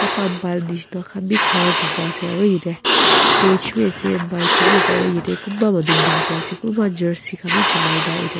nishina bi kharakurina ase aru ite stage wii ase mic khan wii ase aru yeti kunba manu buhina ase kunba jersey khan wii chuliakena ite.